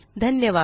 धन्यवाद